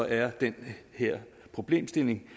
er den her problemstilling